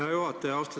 Hea juhataja!